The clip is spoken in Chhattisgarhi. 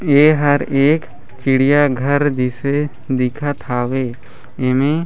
ए हर एक चिड़िया घर जिसे दिखत हावे एमे--